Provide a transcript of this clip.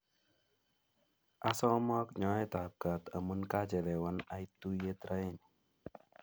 Asomok nyoet ap kaat amun kaachelewan ait tuyet raini